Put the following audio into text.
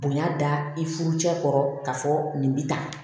Bonya da i furu cɛ kɔrɔ k'a fɔ nin bɛ ta